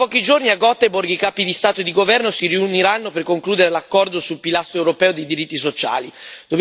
Tra pochi giorni, a Göteborg, i capi di Stato e di governo si riuniranno per concludere l'accordo sul pilastro europeo dei diritti sociali.